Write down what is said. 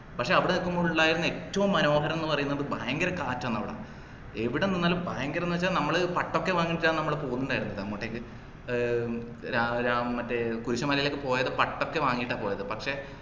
പക്ഷെ അവിടെനിക്കുമ്പോ ഉണ്ടായ ഏറ്റവും മനോഹരംന്ന് പറയുന്നത് ഭയങ്കര കാറ്റാണ്അവിട. എവിടെ നിന്നാലും ഭയങ്കരംന്ന് വെച്ചാൽ നമ്മള് പട്ടൊക്കെ വാങ്ങിച്ചാനു നമ്മള് പോകുന്നുണ്ടായിരുന്നെ അങ്ങോട്ടേക്ക് ഏർ രാ രാം മറ്റേ കുരിശുമലയിലേക്ക് പോയത്പട്ടൊക്കെ വാങ്ങീട്ട പോയത് പക്ഷെ